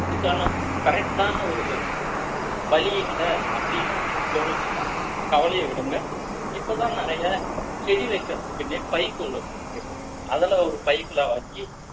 இதுக்கான correct ஆன ஒரு help வழி இல்ல அப்படின்னு உங்களுக்கு தோணுச்சுன்னா கவலைய விடுங்க இப்பதான் நிறைய செடி வைக்கிறதுக்குன்னே பைகள் வந்திருக்கு அதுல ஒரு பைகள வாங்கி